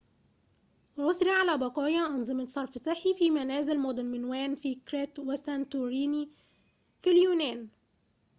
عُثر على بقايا أنظمة صرف صحي في منازل مدن مينوان في كريت وسانتوريني في اليونان